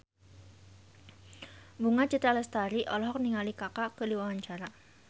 Bunga Citra Lestari olohok ningali Kaka keur diwawancara